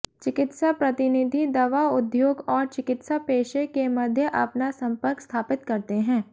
चिकित्सा प्रतिनिधि दवा उद्योग और चिकित्सा पेशे के मध्य अपना संपर्क स्थापित करते हैं